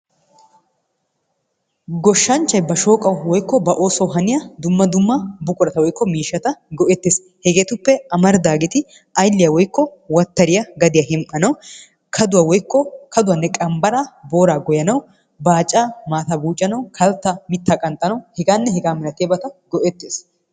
Goshshanhchay ba shooqawu woykko ba oosuwawu haniya dumma dumma buqurata woyikko miishata go"ettes. Hegeetuppe amaridaageeti ayiliya woyikko wattariya gadiya hem"anawu, kaduwa woyikko kaduwanne qambaraa booraa goyyanawu, baacaa maataa buucanawu, kalttaa mittaa qanxanawu, hegaanne hegaa milatiyabata go"ettes.